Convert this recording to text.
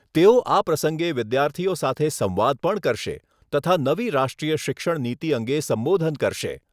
તેઓ આ પ્રસંગે વિદ્યાર્થીઓ સાથે સંવાદ પણ કરશે તથા નવી રાષ્ટ્રીય શિક્ષણનીતિ અંગે સંબોધન કરશે.